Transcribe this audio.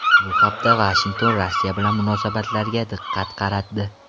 Bu hafta Vashington Rossiya bilan munosabatlariga diqqat qaratdi.